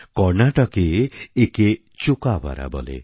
কর্ণাটকে একে চোকাবারা বলে